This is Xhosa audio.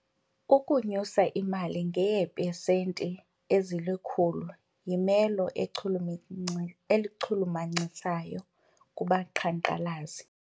Ukunyuselwa imali ngeepesenti ezilikhulu yimelo echulumachisayo kubaqhankqalazi.